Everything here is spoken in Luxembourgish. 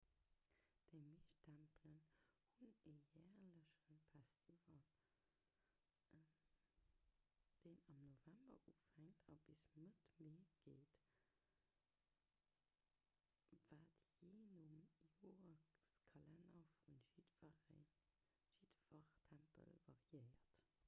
déi meescht tempelen hunn e järleche festival deen am november ufänkt a bis mëtt mee geet wat jee nom joreskalenner vu jiddwer tempel variéiert